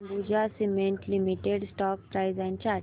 Ambuja cement limited stock price and chart